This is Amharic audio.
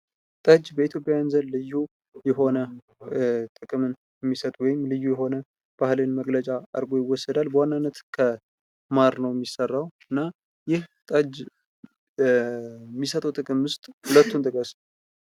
ጠጅ በኢትዮጵያዊያን ዘንድ ልዩ የሆነ ጥቅምን የሚሰጥ ወይም ልዩ የሆነ ባህላዊ መግለጫ አርጎ ይወሰዳል። በዋናነት ከማር ነው የሚሰራው እና ይህ ጠጅ የሚሰጠው ጥቅም ውስጥ ሁለቱን ጥቀስ።